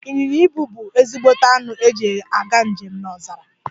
Inyịnya ibù bu ezigbote anụ eji aga njem n'ọzara.